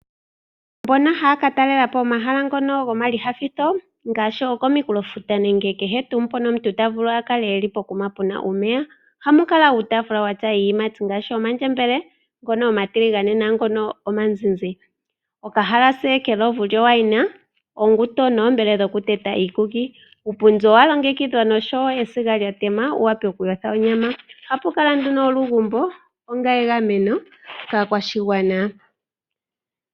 Mbono haya ka talelapo omahala gomayinyanyudho ngaashi kominkulofuta nenge kehe tuu mpono omuntu ta vulu a kale puna omeya, ohamu kala uutafula wuna iiyimati ngaashi omandjembele ngono omatiligane nenge omazizi, okahalasa kelovu lyo wine, osindo noshowo okambele kokuteta uukuki. Uupundi owa longekidhwa nesiga lyoku yothela onyama, ohapu kala nduno olugumbo onga egameno kaakwashigwana.